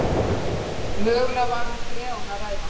Mögulega var um freon að ræða